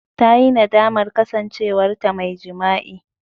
Ta yi nadamar kasancewarta mai jima'i.